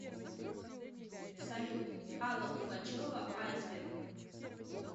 салют алла пугачева айсберг